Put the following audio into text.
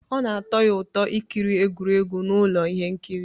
Ọ na-atọ ya ụtọ ikiri egwuregwu na ụlọ ihe nkiri